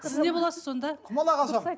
сіз не боласыз сонда құмалақ ашамын